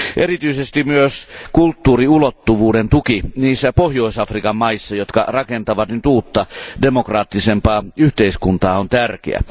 Erityisesti myös kulttuuriulottuvuuden tuki niissä Pohjois Afrikan maissa, jotka rakentavat nyt uutta demokraattisempaa yhteiskuntaa, on tärkeä.